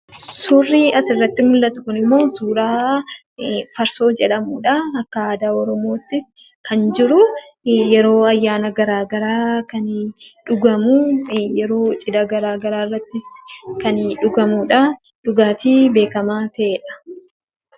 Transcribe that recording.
Suurri asirratti mul'atu kunimmoo suuraa farsoo jedhamudha. Akka aadaa oromootti kan jiru yeroo ayyaana garaagaraa kan dhugamu yeroo cidha garaagaraa irratti kan dhugamudha. Dhugaatii beekamaa ta'edha.